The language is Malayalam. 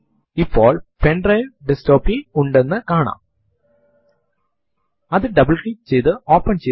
command LS space minus small l L എന്ന് മാത്രം ടൈപ്പ് ചെയ്തു എന്റർ അമർത്തുക